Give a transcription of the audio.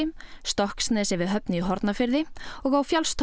Stokksnesi við Höfn í Hornafirði og á